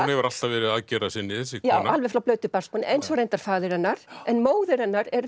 hefur alltaf verið aðgerðarsinni þessi kona alveg frá flautu barnsbeini eins og reyndar faðir hennar en móðir hennar er